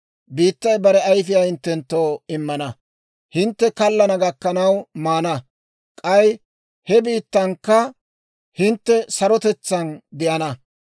Biittay bare ayfiyaa hinttenttoo immana; hintte kallana gakkanaw maana; k'ay he biittankka hintte sarotetsaan de'ana.